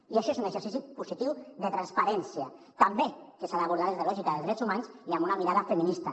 i això és un exercici positiu de transparència també que s’ha d’abordar des de la lògica dels drets humans i amb una mirada feminista